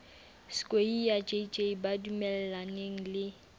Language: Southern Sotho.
skweyiya jj ba dumellaneng le